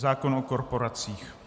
Zákon o korporacích.